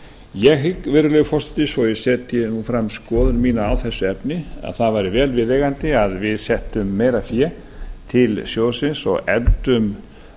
ég hygg virðulegi forseti svo að ég setji fram skoðun mína á þessu efni að það væri vel viðeigandi að við settum meira fé til sjóðsins og efldum